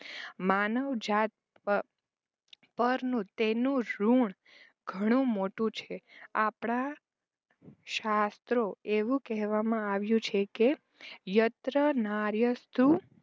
માનવ જાત પ પરનું તેનું ઋણ ઘણું મોટું છે. આપણાં શાસ્ત્રો એવું કહેવામાં આવ્યું છે કે યત્ર નાર્યસ્તુ